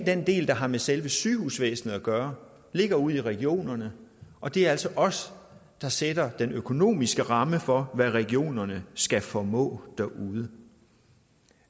den del der har med selve sygehusvæsenet at gøre ligger ude i regionerne og det er altså os der sætter den økonomiske ramme for hvad regionerne skal formå derude